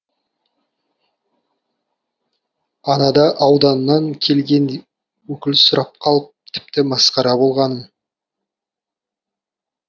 анада ауданнан келген өкіл сұрап қалып тіпті масқара болғаным